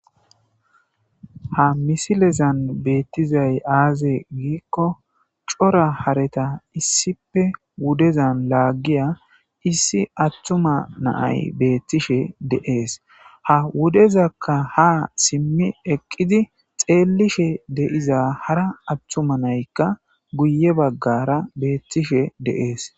Ha misilezan beeththizay aazee giikko cora haretha issippe wudezan laaggiya issi aththuma na7ay beeththishe de7ees;ha wudezakka haa simmi eqqidi xeellishe de7iza hara aththuma naykka guyye baggaara beeththishee de7ees.